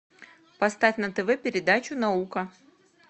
поставь на тв передачу наука